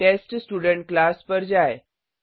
TestStudent class पर जाएँ